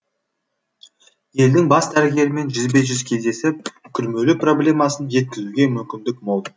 елдің бас дәрігерімен жүзбе жүз кездесіп күрмеулі проблемасын жеткізуге мүмкіндік мол